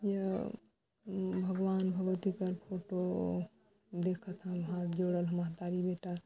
ऐ हा भगवान भगवती कार फोटो देखथन हाथ जोड़त महतारी बेटा--